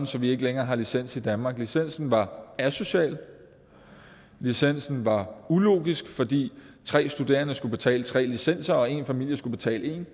så vi ikke længere har licens i danmark licensen var asocial licensen var ulogisk fordi tre studerende skulle betale tre licenser og én familie skulle betale én